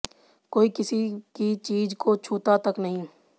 कोई किसी की चीज़ को छूता तक नहीं